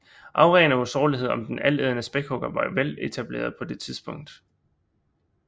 Auraen af usårlighed om den altædende spækhugger var veletableret på det tidspunkt